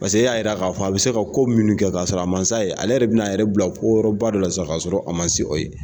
Paseke e y'a yira k'a fɔ a bɛ se ka ko munnu kɛ k'a sɔrɔ a masa ye ale yɛrɛ bɛna a yɛrɛ bila ko wɛrɛw ba dɔ la sisan ka sɔrɔ a ma se o ye.